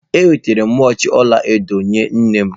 Enwetara m wachi ọla edo nye nne m.